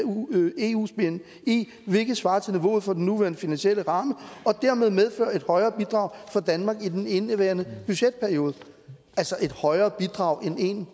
eu’s bni hvilket er svarende til niveauet for den nuværende finansielle ramme og dermed medfører et højere bidrag fra danmark end i indeværende budgetperiode altså et højere bidrag end en